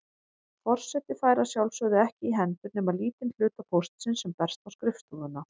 Forseti fær að sjálfsögðu ekki í hendur nema lítinn hluta póstsins sem berst á skrifstofuna.